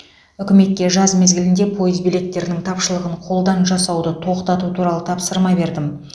үкіметке жаз мезгілінде пойыз билеттерінің тапшылығын қолдан жасауды тоқтату туралы тапсырма бердім